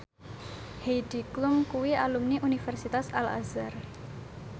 Heidi Klum kuwi alumni Universitas Al Azhar